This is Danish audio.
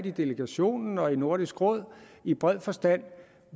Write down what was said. i delegationen og i nordisk råd i bred forstand